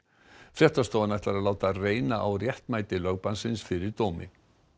fréttastofan ætlar að láta reyna á réttmæti lögbannsins fyrir dómi